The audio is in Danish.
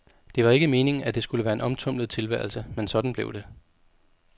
Det var ikke meningen, at det skulle være en omtumlet tilværelse, men sådan blev det.